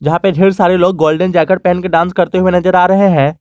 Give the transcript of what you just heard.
यहां पे ढेर सारे लोग गोल्डन जैकेट पहन के डांस करते हुए नजर आ रहे हैं।